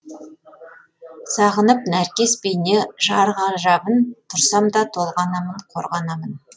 сағынып нәркес бейне жар ғажабын тұрсам да толғанамын қорғанамын